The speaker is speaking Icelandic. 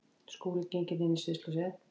Skúli gengur inn í sviðsljósin.